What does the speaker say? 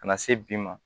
Ka na se bi ma